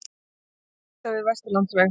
Bílvelta við Vesturlandsveg